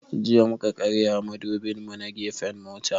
Jiya mu ka karya mudubin mu na gefen mota